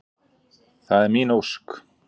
Það er mín ósk.